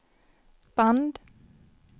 band